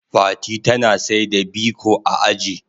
Fati tana saida biko a aji.